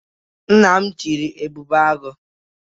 Nna m chịrị Ebube Agụ'